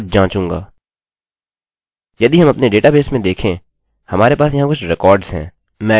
यदि हम अपने डेटाबेस में देखें हमारे पास यहाँ कुछ रिकार्डस हैं